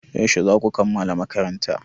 Yaushe za ku kammala makaranta?